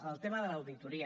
el tema de l’auditoria